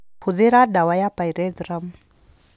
Hũthĩra ndawa ya pyrethrum